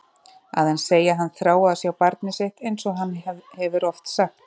Að hann segi að hann þrái að sjá barnið sitt einsog hann hefur oft sagt.